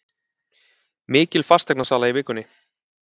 Mikil fasteignasala í vikunni